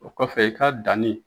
O kɔfɛ i k ka danni